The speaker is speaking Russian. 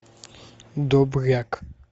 добряк